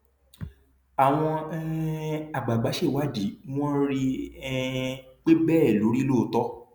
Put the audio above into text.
àwọn um àgbààgbà ṣèwádìí wọn rí um i pé bẹẹ ló rí lóòótọ